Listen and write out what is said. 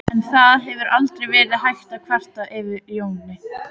En það hefur aldrei verið hægt að kvarta yfir Jóni.